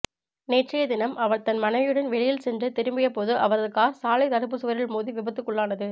நேற்றைய தினம் அவர் தன் மனைவியுடன் வெளியில் சென்று திரும்பியபோது அவரது கார் சாலை தடுப்பு சுவரில் மோதி விபத்துக்குள்ளானது